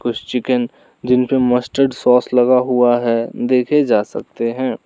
कुछ चिकन जिन पे मस्टर्ड सॉस लगा हुआ है देखे जा सकते हैं।